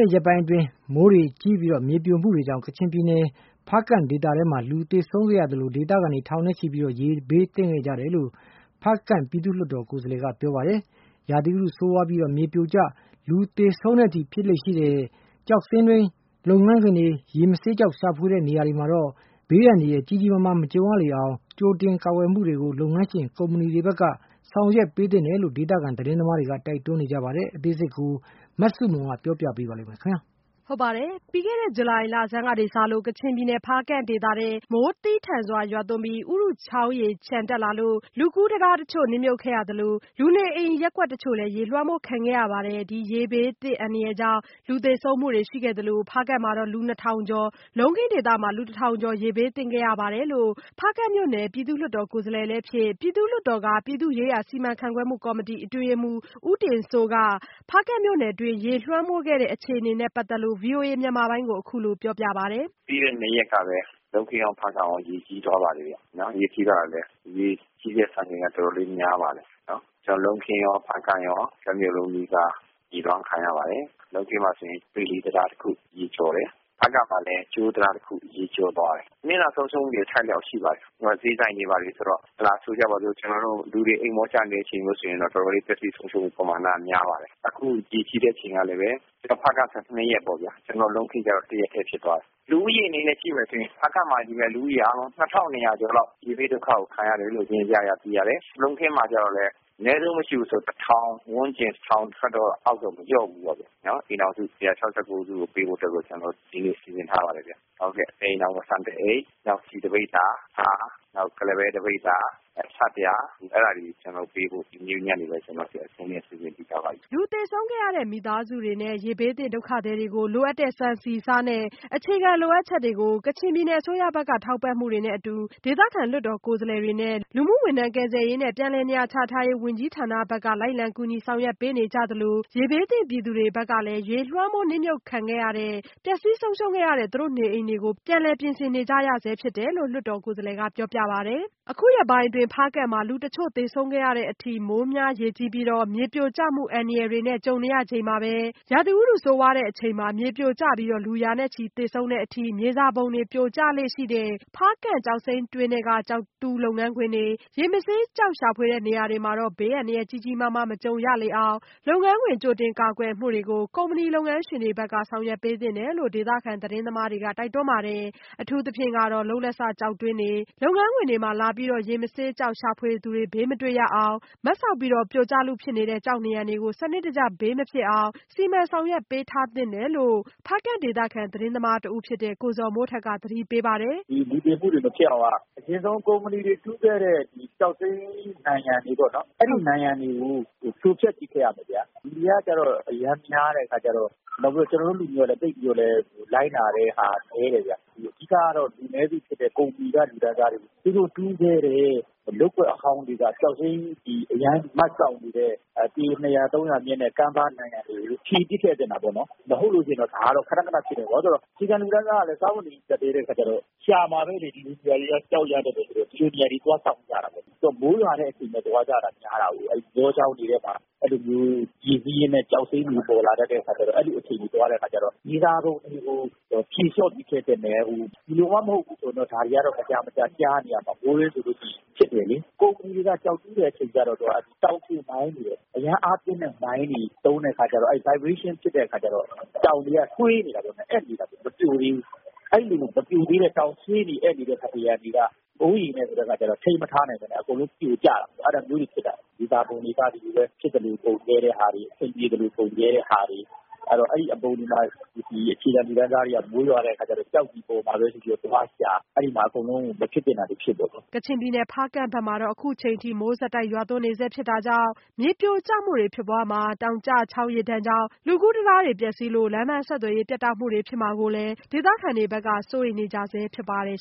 ဲ့ရက်ပိုင်းတွင်း မိုးများရေကြီးပြီး မြေပြိုကျမှုတွေကြောင့် ကချင်ပြည်နယ် ဖားကန့်ဒေသထဲ လူသေဆုံးခဲ့ရသလို ဒေသခံ ထောင်နဲ့ချီ ရေဘေးသင့်ခဲ့ရတယ်လို့ ဖားကန့်ပြည်သူ့လွှတ်တော် ကိုယ်စားလှယ်ကပြောပါတယ်။ ရာသီဥတုဆိုးဝါးလို့ မြေပြိုကျပြီး လူရာချီသေဆုံးတဲ့အထိ မြေစာပုံတွေ ပြိုကျလေ့ရှိတဲ့ ဖားကန့်ကျောက်စိမ်းတွင်း လုပ်ငန်းခွင်တွေ၊ ရေမဆေး ကျောက်ရှာဖွေတဲ့ နေရာတွေမှာတော့ ဘေးအန္တရာယ်ကြီးကြီးမားမား မကြုံရလေအောင် လုပ်ငန်းခွင် ကြိုတင်ကာကွယ်မှုတွေကို ကုမ္မဏီလုပ်ငန်းရှင်တွေဘက်က ဆောင်ရွက်ပေးသင့်တယ်လို့လည်း ဒေသခံသတင်းသမားတွေက တိုက်တွန်းပါတယ်။ အသေးစိတ် မဆုမွန် ဆက်ပြောပြပါမယ်။ ပြီးခဲ့တဲ့ဇူလိုင်လဆန်းကစလို့ ကချင်ပြည်နယ် ဖားကန့်ဒေသထဲ မိုးသည်းထန်စွာရွာသွန်းပြီး ဥရုချောင်းရေလျှံတက်လာလို့ လူကူးတံတားတချို့ နစ်မြုပ်ခဲ့ရသလို လူနေအိမ်ရပ်ကွက်တချို့လည်း ရေလွှမ်းမိုးခံခဲ့ရပါတယ်။ ဒီရေဘေးအန္တရာယ်ကြောင့် လူသေဆုံးမှုတွေရှိခဲ့သလို ဖားကန့်မှာ လူနှစ်ထောင်ကျော်၊ လုံးခင်းဒေသမှာ လူတစ်ထောင်ကျော်လောက် ရေဘေးသင့်ခဲ့ရပါတယ်လို့ ဖားကန့်မြို့နယ် ပြည်သူ့လွှတ်တော်ကိုယ်စားလှယ်လည်းဖြစ် ပြည်သူ့လွှတ်တော်က ပြည်သူ့ရေးရာစီမံခန့်ခွဲမှုကော်မတီအတွင်းရေးမှူး ဦးတင်စိုးက ဖားကန့်မြို့နယ်တွင်း ရေလွှမ်းမိုးခံခဲ့ရတဲ့အခြေအနေနဲ့ပတ်သက်လို့ ဗွီအိုအေမြန်မာပိုင်းကိုပြောပါတယ်။ " ပြီးခဲ့တဲ့ ၂ရက်ကပဲ လုံးခင်းရော ဖားကန့်ရော ရေကြီးသွားပါတယ်။ ရေကြီးတဲ့ စံချိန်က တော်တောလေး များပါတယ်။ လုံးခင်း ဖားကန့် တမြို့လုံးနီးပါး ရေးလွှမ်းခံရပါတယ်။ လုံးခင်းမှာဆိုရင် ဗီလီတံတားတခု ရေကျော်ပါတယ်၊ ဖားကန့်မှာလည်း ကြိုးတံတားတခု ရေကျော်သွားတယ်။ နစ်နာဆုံးရှုံးမှုတွေ အထိုက်အလျှောက်ရှိပါတယ်။ ဈေးဆိုင်တို့ပါတို့ပေါ့၊ လူတွေ အိပ်မောကျနေချိန်ဆိုတော့ ပျက်စီးဆုံးရှုံးမှုပမာဏ တော်တော်လေး များပါတယ်။ ဖားကန့်မှာ ၂ရက် လုံးခင်းမှာ ၁ရက်ကြီးတယ်။ လူဦးရေအနေနဲ့ကြည့်ရင် ဖားကန့်မှာ လူ ၂၂၀၀ ကျော်လောက် ရေဘေးဒုက္ခကို ခံရတယ်။ လုံးခင်းမှာကျတော့ အနည်းဆုံး မရှိဘူးဆိုရင် ၁ ထောင်ဝန်းကျင် ၁ထောင်ထက်တော့ မလျော့ဘူးပေါ့။ အိမ်ထောင်စု ၁၆၉ စုကို ကူညီဖို့ စီစဉ်ထားပါတယ်။ တအိမ်ထောင် ဆန်တအိတ်၊ ဆီတပိဿာ၊ ဆား နောက် ကုလားပဲ တပိဿာ၊ နောက် ဆပ်ပြာ အဲဒါတွေပေးဖို့ ကျနော်တို့ အဆင်သင့်လုပ်ထားပါတယ်။" လူသေဆုံးခဲ့ရတဲ့မိသားစုတွေနဲ ရေဘေးသင့်ဒေသခံတွေကို လိုအပ်တဲ့ ဆန်ဆီဆားနဲ့ အခြေခံလိုအပ်ချက်တွေအတွက် ကချင်ပြည်နယ် အစိုးရဘက်က ထောက်ပံ့မှုတွေနဲ့အတူ ဒေသခံလွှတ်တော် ကိုယ်စားလှယ်တွေနဲ့ လူကယ်ပြန်ဘက်က လိုက်လံကူညီ ဆောင်ရွက်ပေးနေကြသလို ရေဘေးသင့်ပြည်သူတွေဘက်ကလည်း ရေလွှမ်းမိုးနစ်မြုပ်မှုခံခဲ့ရတဲ့ ပျက်ဆီးဆုံးရှုံးခဲ့ရတဲ့ နေအိမ်တွေကိုပြန်လည်ပြင်ဆင်နေကြရဆဲဖြစ်တယ်လို့ ပြည်သူ့လွှတ်တော်ကိုယ်စားလှယ်ကပြောပါတယ်။ အခုလို ဖားကန့်မှာ အခုရက်ပိုင်း လူတချို့သေဆုံးခဲ့ရတဲ့အထိ မိုးများရေကြီးပြီး မြေပြိုကျမှုအန္တရာယ်တွေနဲ့ကြုံနေရချိန်မှာပဲ ရာသီဥတုဆိုးဝါးတဲ့အချိန်မှာ မြေပြိုကျပြီး လူရာချီသေဆုံးတဲ့အထိ မြေစာပုံတွေ ပြိုကျလေ့ရှိတဲ့ ဖားကန့်ကျောက်စိမ်းတွင်းထဲက ကျောက်တူးလုပ်ငန်းခွင်တွေ၊ ရေမဆေး ကျောက်ရှာဖွေတဲ့ နေရာတွေမှာတော့ ဘေးအန္တရာယ်ကြီးကြီးမားမား မကြုံရလေအောင် လုပ်ငန်းခွင် ကြိုတင်ကာကွယ်မှုတွေကို ကုမ္မဏီလုပ်ငန်းရှင်တွေဘက်က ဆောင်ရွက်ပေးသင့်တယ်လို့လည်း ဒေသခံသတင်းသမားတွေက တိုက်တွန်းပါတယ်။ အထူးသဖြင့်ကတော့ လုပ်လက်စကျောက်တွင်းတွေ၊ လုပ်ငန်းခွင်တွေမှာ လာပြီးတော့ ရေမဆေးကျောက်ရှာဖွေသူတွေ ဘေးမတွေ့ရအောင် မတ်စောက်ပြီး ပြိုကျလုဖြစ်နေတဲ့ကျောက်နံရံတွေကို စနစ်တကျဘေးမဖြစ်အောင် ဆောင်ရွက်ပေးထားသင့်တယ်လို့ ဖားကန့်ဒေသခံသတင်းသမားတဦးဖြစ်တဲ့ ကိုဇော်မိုးထက်က သတိပေးပါတယ်။ " လူသေတာတွေ မဖြစ်အောင်က ဒီကုမ္ပဏီတွေ တူးခဲ့တဲ့ကျောက်စိမ်း နံရံတွေပေ့ါနော်၊ အဲဒီနံရံတွေကို ဖြိုဖ ျက်ပစ်ခဲ့ရမယ်ဗျာ။ လူတွေက အရမ်းများတယ် ၊ ကျနော်တို့လူတွေကလည်း လိုက်နာမှုတွေ နည်းတယ်ဗျ။ အဓိကတော့ လူနည်းစုဖြစ်တဲ့ ကုမ္ပဏီက လူတန်းစားတွေ သူတို့တူးခဲ့တဲ့ လုပ်ကွက်အဟောင်းတွေက ကျောက်စိမ်းနံရံ.. အရမ်းမတ်စောက်နေတဲ့ ပေ မြင့်တဲ့ ကမ်းပါးနံရံတွေကို ဖြည်ပစ်ခဲ့သင့်တာပေါ့နော်။ မဟုတ်လို့ရှိရင် ဒါကတော့ ခနခနဖြစ်နေမှာပဲ။ အခြေခံလူတန်းစားကတော့ စားဝတ်နေရေး ကြပ်တည်းတဲ့ အခါကျတော့ ရှာမှာပဲလေ။ ဒီလိုနေရာတွေက ကျောက်ရတတ်တဲ့အခါကျတော့ သွားစောင့်ကြမှာပေါ့။ မိုးရွာတဲ့အချိန်မှာ သွားကြတာများတာကိုး၊ ရေစီးရင်းနဲ့ ကျောက်စိမ်းတွေ ပေါ်လာတတ်တဲ့အခါကျတော့ အဲလိုအချိန်မှာ သွားတတ်တဲ့အခါကျတော့..။ မြေစာပုံတွေကို ဖြေလျော့ပြီးဖ ျက်ခဲ့သင့်တယ်။ ဒီလိုမှ မဟုတ်ဘူးဆို ဒါတွေက မကြာမကြာ ကြားနေရမှာပဲ။ ကုမ္ပဏီတွေက ကျောက်တူးတဲ့အခါမှာ အရမ်းအားပြင်းတဲ့မိုင်းတွေ သုံးတဲ့ အခါကျတော့ တုန်ခါမှုတွေဖြစ်ခဲ့တော့ တောင်တွေက ဆွေးနေတာပေါ့ အက်နေတာပေါ့ မပြိုသေးဘူး။ အဲလို မပြိုသေးတဲ့တောင် ဆွေးနေအက်နေတဲ့ နံရံတွေက မိုးရေနဲ့က ျတော့ ထိန်းမထားနိုင်ပဲနဲ့ အကုန်လုံးပြိုကျတော့တာပဲ အဲလိုကနေဖြစ်တာ။ မြေစာပုံတွေက ဖြစ်သလိုပုံခဲ့ကြတာ။ အဲဒီအပုံတွေမှာ ကျောက်တွေပေါ်လာမှာပဲဆိုပြီး အခြေခံ လူတန်းစားတွေက သွားရှာကြတာ။ အဲလိုနဲ့ အကုန်လုံး မဖြစ်သင့်တာတွေဖြစ်ကုန်တာ။" ကချင်ပြည်နယ် ဖားကန့်ဘက်မှာ အခုထက်ထိ မိုးဆက်တိုက်ရွာသွန်းနေတာကြောင့် မြေပြိုကျမှုတွေဖြစ်ပွားမှာ တောင်ကျချောင်း ရေဒဏ်ကြောင့် လူကူးတံတားပျက်စီးလို့ လမ်းပမ်းဆက်သွယ်ရေးပြတ်တောက်မှုဖြစ်မှာကိုလည်း ဒေသခံတွေက စိုးရိမ်နေကြဆဲဖြစ်ပါတယ်